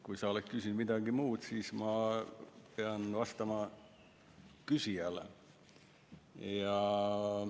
Kui sa oleks küsinud midagi muud, siis ma oleks pidanud küsijale vastama.